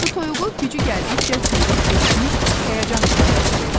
Su toyuğu gücü gəldikcə çığırıb gecikmiş həyəcan işarəsi verdi.